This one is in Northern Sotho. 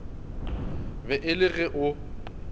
be e le ge o